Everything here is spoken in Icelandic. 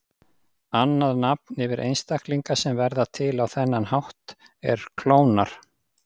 Annað nafn yfir einstaklinga sem verða til á þennan hátt er klónar.